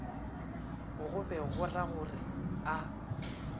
go be go ragore a